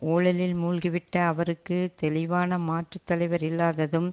ஊழலில் மூழ்கிவிட்ட அவருக்கு தெளிவான மாற்று தலைவர் இல்லாததும்